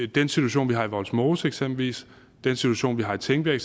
den situation vi har i vollsmose eksempelvis at den situation vi har i tingbjerg